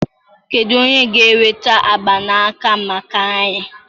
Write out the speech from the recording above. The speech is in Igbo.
Kedu onye ga-enweta mgbanaka maka anyị?